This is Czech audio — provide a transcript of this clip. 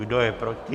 Kdo je proti?